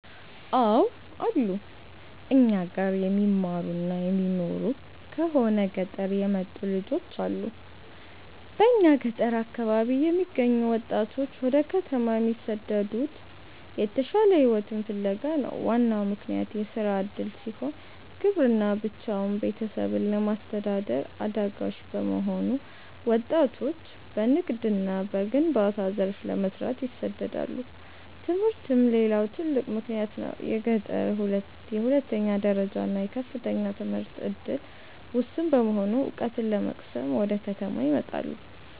አው አሉ, እኛ ጋር የሚማሩና የሚኖሩ ከሆነ ገጠር የመጡ ልጆች አሉ በእኛ ገጠር አካባቢ የሚገኙ ወጣቶች ወደ ከተማ የሚሰደዱት የተሻለ ሕይወትን ፍለጋ ነው። ዋናው ምክንያት የሥራ ዕድል ሲሆን፣ ግብርና ብቻውን ቤተሰብን ለማስተዳደር አዳጋች በመሆኑ ወጣቶች በንግድና በግንባታ ዘርፍ ለመሰማራት ይሰደዳሉ። ትምህርትም ሌላው ትልቅ ምክንያት ነው። በገጠር የሁለተኛ ደረጃና የከፍተኛ ትምህርት ዕድል ውስን በመሆኑ፣ ዕውቀት ለመቅሰም ወደ ከተማ ይመጣሉ።